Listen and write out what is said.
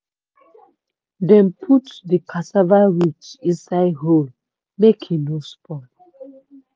dem put di cassava root inside hole make e no spoil.